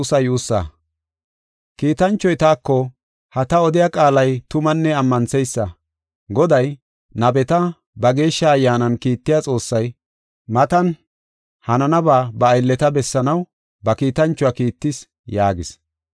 Kiitanchoy taako, “Ha ta odiya qaalay tumanne ammantheysa. Goday, nabeta ba Geeshsha Ayyaanan kiittiya Xoossay, matan hananaba ba aylleta bessanaw ba kiitanchuwa kiittis” yaagis.